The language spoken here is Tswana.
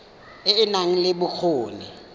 e e nang le bokgoni